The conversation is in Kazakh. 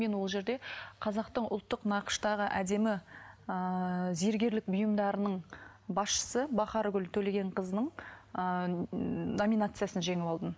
мен ол жерде қазақтың ұлттық нақыштағы әдемі ыыы зергерлік бұйымдарының басшысы бахаргүл төлегенқызының ыыы номинациясын жеңіп алдым